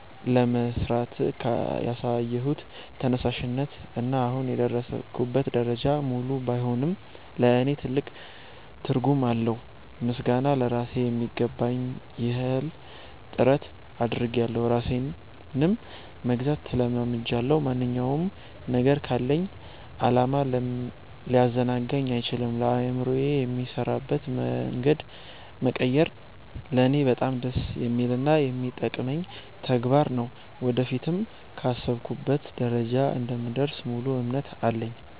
ለመሥራት ያሳየሁት ተነሳሽነት እና አሁን የደረስኩበት ደረጃ፣ ሙሉ ባይሆንም ለእኔ ትልቅ ትርጉም አለው። ምስጋና ለራሴ ....የሚገባኝን ያህል ጥረት አድርጌያለሁ ራሴንም መግዛት ተለማምጃለሁ። ማንኛውም ነገር ካለኝ ዓላማ ሊያዘናጋኝ አይችልም። አእምሮዬ የሚሠራበትን መንገድ መቀየር ለእኔ በጣም ደስ የሚልና የሚጠቅመኝ ተግባር ነው። ወደፊትም ካሰብኩበት ደረጃ እንደምደርስ ሙሉ እምነት አለኝ።